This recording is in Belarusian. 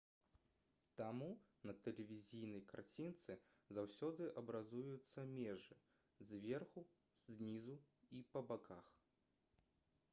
таму на тэлевізійнай карцінцы заўсёды абразаюцца межы зверху знізу і па баках